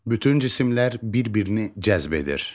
Bütün cisimlər bir-birini cəzb edir.